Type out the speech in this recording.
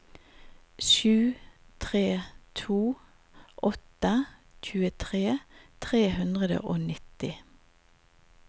sju tre to åtte tjuetre tre hundre og nitti